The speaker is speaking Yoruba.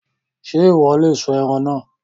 Ṣé Ìwọ́ lè sun ẹran náà?